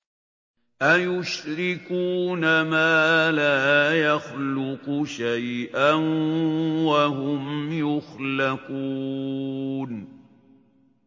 أَيُشْرِكُونَ مَا لَا يَخْلُقُ شَيْئًا وَهُمْ يُخْلَقُونَ